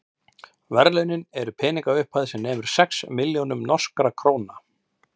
verðlaunin eru peningaupphæð sem nemur sex milljónum norskra króna